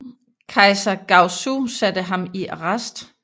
Kejser Gaozu satte ham i arrest